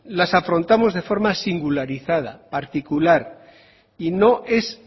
las afrontamos de forma singularizada particular y no es